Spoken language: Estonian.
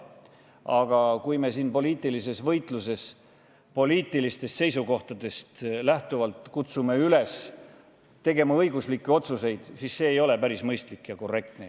Aga kui me siin poliitilises võitluses oma poliitilistest seisukohtadest lähtuvalt kutsume üles tegema õiguslikke otsuseid, siis see ei ole päris mõistlik ja korrektne.